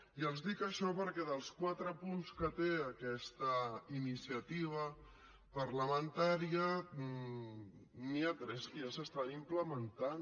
i els dic això perquè dels quatre punts que té aquesta iniciativa parlamentària n’hi ha tres que ja s’estan implementant